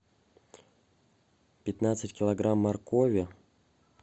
пятнадцать килограмм моркови